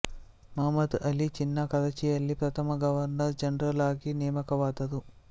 ಮುಹಮ್ಮದ್ ಅಲಿ ಜಿನ್ನಾ ಕರಾಚಿಯಲ್ಲಿ ಪ್ರಥಮ governor general ಆಗಿ ನೇಮಕವಾದರು